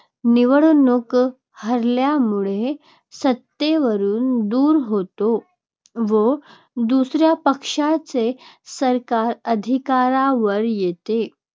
निवडणूक हरल्यामुळे सत्तेवरून दूर होतो व दुसऱ्या पक्षाचे सरकार अधिकारावर येते.